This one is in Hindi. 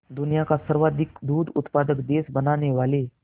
दुनिया का सर्वाधिक दूध उत्पादक देश बनाने वाले